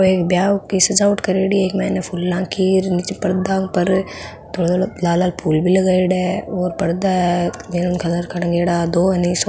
एक ब्याह की सजावट करेड़ी है इ के मायने फुला की नीचे पर्दा पर लाल लाल फूल भी लगायेड़ा और पर्दा है हरे रंग का टांगेडा दो ह नि सोफा --